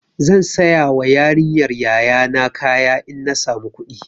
Zan sayawa yarinyar yaya na kaya in na samu kuɗi.